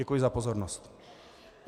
Děkuji za pozornost.